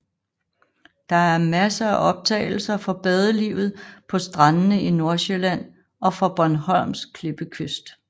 Der er masser af optagelser fra badelivet på strandene i Nordsjælland og fra Bornholms klippekyst